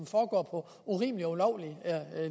foregår på urimelige og ulovlige